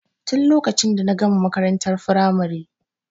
Tin lokacin da na gama makarantar firamare.